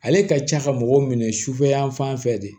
Ale ka ca ka mɔgɔw minɛ sufɛ yan fan fɛ de